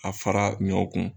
A fara ɲɔ kun